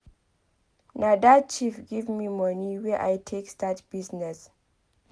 Na dat chief give me money wey I take start business.